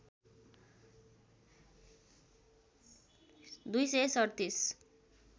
२ सय ३७